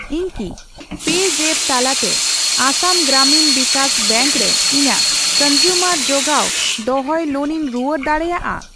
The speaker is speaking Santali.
ᱤᱧ ᱠᱤ ᱯᱮᱡᱟᱯᱯ ᱛᱟᱞᱟᱛᱮ ᱟᱥᱟᱢ ᱜᱨᱟᱢᱤᱱ ᱵᱤᱠᱟᱥ ᱵᱮᱝᱠ ᱨᱮ ᱤᱧᱟᱜ ᱠᱚᱱᱡᱩᱢᱟᱨ ᱡᱚᱜᱟᱣ ᱫᱚᱦᱚᱭ ᱞᱳᱱᱤᱧ ᱨᱩᱣᱟᱹᱲ ᱫᱟᱲᱮᱭᱟᱜᱼᱟ ?